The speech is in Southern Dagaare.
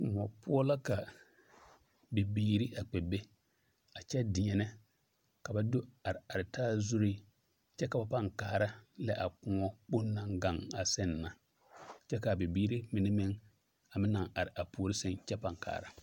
Kõɔ poɔ la ka bibiiri a kpɛ be a kyɛ deɛnɛ ka ba do are are taa zuri kyɛ ka ba pãã lɛ a kõɔ kpoŋ naŋ gaŋ a seŋ na kyɛ k'a bibiiri mine meŋ a meŋ naŋ are a puori seŋ kyɛ kaara.